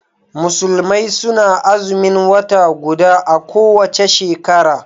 Musulmai suna Azumin wata guda a kowace shekara